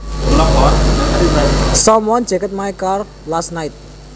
Someone jacked my car last night